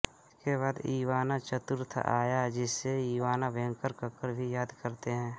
इसके बाद इवान चतुर्थ आया जिसे इवान भयंकर कहकर भी याद करते हैं